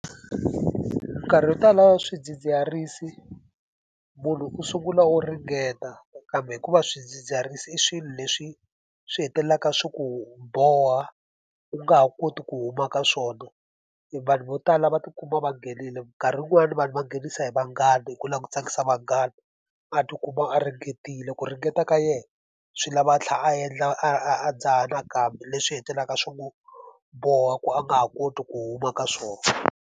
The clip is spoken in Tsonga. Minkarhi wo tala swidzidziharisi munhu u sungula o ringeta, kambe hikuva swidzidziharisi i swilo leswi swi hetelelaka swi ku boha u nga ha koti ku huma ka swona. Vanhu vo tala va tikuma va nghenile, minkarhi yin'wani vanhu va nghenisa hi vanghana, hi ku lava ku tsakisa vanghana a tikuma a ringetile. Ku ringeta ka yena swi lava a tlhela a endla a a a dzaha nakambe leswi hetelelaka swi n'wi boha ku a nga ha koti ku huma ka swona.